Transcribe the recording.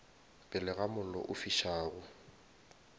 pele ga mollo o fišago